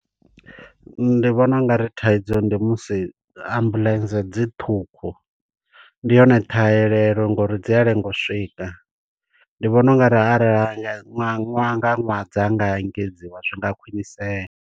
Ndi vhona ungari thaidzo ndi musi ambuḽentse dziṱhukhu. Ndi hone ṱhahelelo ngo uri dzi a lenga u swika, ndi vhona u nga arali ra ṅwaha nga ṅwaha dza nga engedziwa zwi nga khwiṋisea.